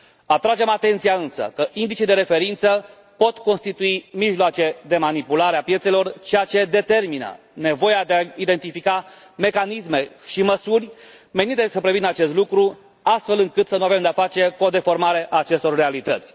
Atragem atenția însă că indicii de referință pot constitui mijloace de manipulare a piețelor, ceea ce determină nevoia de a identifica mecanisme și măsuri menite să prevină acest lucru, astfel încât să nu avem de a face cu o deformare a acestor realități.